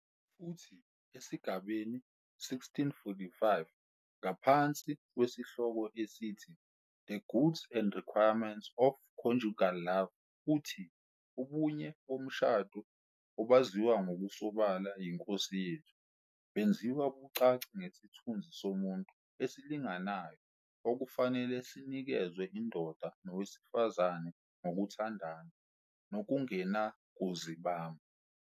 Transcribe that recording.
Futhi esigabeni 1645 ngaphansi kwesihloko esithi "The Goods and Requirements of Conjugal Love" uthi "Ubunye bomshado, obaziwa ngokusobala yiNkosi yethu, benziwa bucace ngesithunzi somuntu esilinganayo okufanele sinikezwe indoda nowesifazane ngokuthandana nokungenakuzibamba.